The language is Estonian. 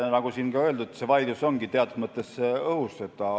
Nagu siin enne öeldud, see vaidlus ongi teatud mõttes õhus.